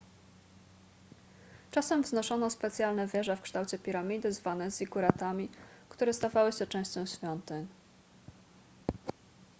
czasem wznoszono specjalne wieże w kształcie piramidy zwane ziguratami które stawały się częścią świątyń